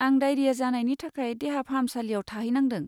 आं डाइरिया जानायनि थाखाय देहा फाहामसालियाव थाहैनांदों।